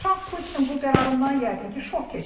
Tramp Putinin bu qərarından yəqin ki, şok keçirdi.